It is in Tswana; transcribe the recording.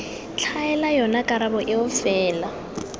tlhaela yona karabo eo fela